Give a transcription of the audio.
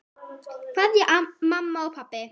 Kveðja mamma og pabbi.